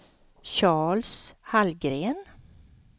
Charles Hallgren